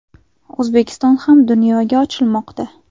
O‘zbekiston ham dunyoga ochilmoqda.